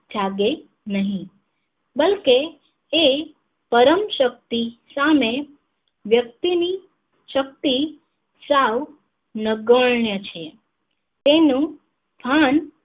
જાગે નહિ બલ્કે એ પરમ શક્તિ સામે વ્યક્તિ ની શક્તિ સાવ નકર્ણ છે તેનું ભાન